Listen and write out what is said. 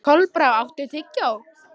Kolbrá, áttu tyggjó?